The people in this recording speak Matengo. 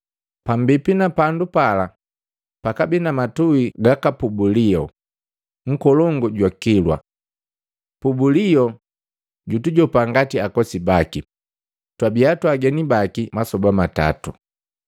Pambipi na pandu pala gakabii na matui gaka Pubulio, nkolongu jwa kilwa. Pubulio jutujopa ngati ukosi baki, twabia twaageni baki masoba matatu.